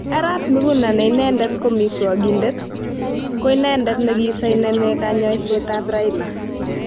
Arap Miguna ne inedet ko miswogindet, koinedet nekisoineni koyoshoet ab Raila.